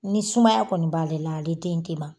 Ni sumaya kɔni b'ale la ale den tena